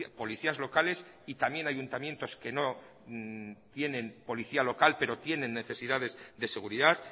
policías locales y también ayuntamientos que no tienen policía local pero tienen necesidades de seguridad